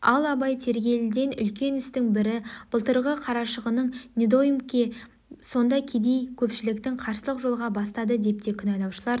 ал абай тергелетін үлкен істің бірі былтырғы қарашығын недоймке сонда кедей көпшілікті қарсылық жолға бастады деп те кінәлаушылар